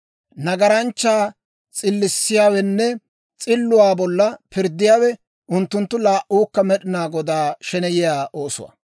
Nagaranchchaa s'illissiyaawenne s'illuwaa bolla pirddiyaawe unttunttu laa"uukka Med'inaa Godaa sheneyiyaa oosuwaa.